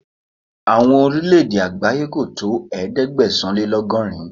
Àwọn Orílẹ̀ẹ̀dè àgbáyé kò tó ẹ̀ẹ́dẹ́gbẹ̀sán-lé-lọ́gọ́rin.